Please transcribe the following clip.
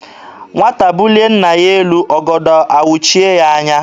Nwata bulie nna ya elu, ọgọdọ awụchie ya anya.